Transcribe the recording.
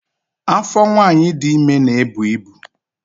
Afọ nwanyị dị ime na-ebu ibu